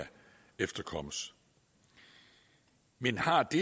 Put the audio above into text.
efterkommes men har det